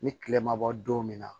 Ni kile ma bɔ don min na